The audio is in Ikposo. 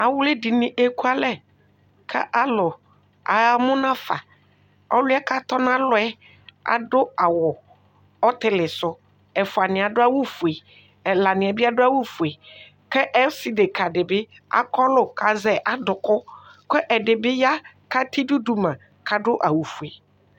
Awli dini ekualɛ ku alu aya munafa ɔliɛ atɔnalɔ yɛ adu awu ɔtilisu ɛfuaniɛ adu awu ofue ɛlaniɛ bi adu awu ofue ku ɔsi deka dibi akɔlu ku azɛ aduku ku ɛdibi ya katɛ idu duma kadu awu ofue